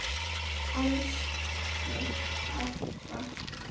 Elsku Ebba.